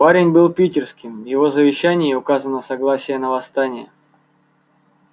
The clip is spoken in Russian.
парень был питерским в его завещании указано согласие на восстание